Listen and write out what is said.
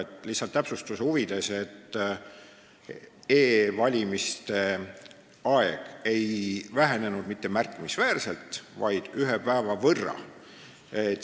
Ütlen lihtsalt täpsustuse huvides, et e-valimiste aeg ei vähenenud mitte märkimisväärselt, vaid ühe päeva võrra.